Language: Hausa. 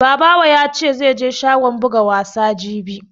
Babawo ya ce zamu je shagon buga wasa jibi